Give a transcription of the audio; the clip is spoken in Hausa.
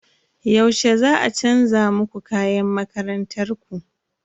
Yaushe za a chanza muku kayan makarantar ku?